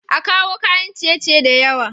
A kawo kayan ciye ciye da yawa